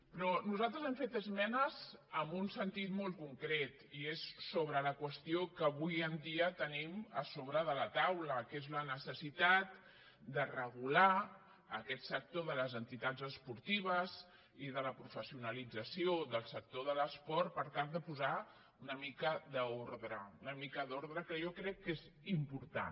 però nosaltres hi hem fet esmenes en un sentit molt concret i és sobre la qüestió que avui en dia tenim a sobre de la taula que és la necessitat de regular aquest sector de les entitats esportives i de la professionalització del sector de l’esport per tal de posar hi una mica d’ordre una mica d’ordre que jo crec que és important